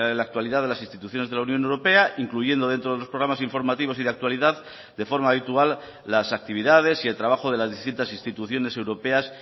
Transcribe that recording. la actualidad de las instituciones de la unión europea incluyendo dentro de los programas informativos y de actualidad de forma habitual las actividades y el trabajo de las distintas instituciones europeas